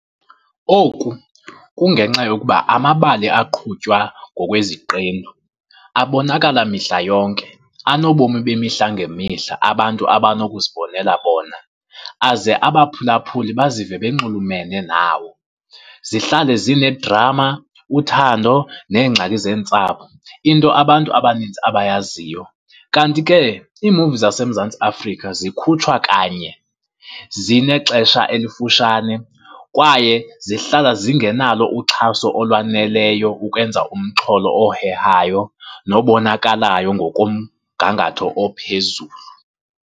Oku kungenxa yokuba amabali aqhutywa ngokweziqendu abonakala mihla yonke, anobomi bemihla ngemihla abantu abanokuzibonela bona, aze abaphulaphuli bazive banxulumene nawo. Zihlale zinedrama, uthando neengxaki zeentsapho, into abantu abaninzi abayaziyo. Kanti ke iimuvi zaseMzantsi Afrika zikhutshwa kanye, zinexesha elifutshane kwaye zihlala zingenalo uxhaso olwaneleyo ukwenza umxholo ohehayo nobonakalayo ngokomgangatho ophezulu.